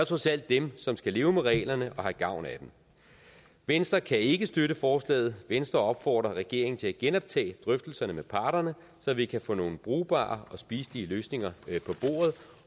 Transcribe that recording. trods alt dem som skal leve med reglerne og have gavn af dem venstre kan ikke støtte forslaget venstre opfordrer regeringen til at genoptage drøftelserne med parterne så vi kan få nogle brugbare og spiselige løsninger